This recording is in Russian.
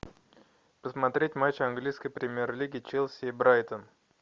посмотреть матч английской премьер лиги челси и брайтон